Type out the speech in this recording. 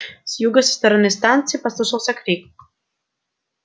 с юга со стороны станции послышался крик